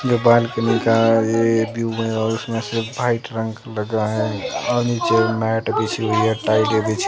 नेपाल के लड़का ये भी और उसमें सिर्फ वाइट रंग लगा है और नीचे मैट बिछी हुई है टाइल बिछी--